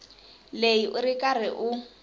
leyi u ri karhi u